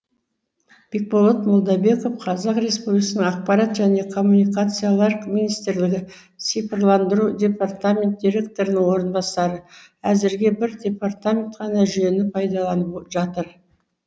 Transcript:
бекболат молдабеков қазақ республикасының ақпарат және коммуникациялар министрлігі цифрландыру департаменті директорының орынбасары әзірге бір департамент қана жүйені пайдаланып жатыр